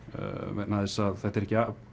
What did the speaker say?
vegna þess að þetta eru ekki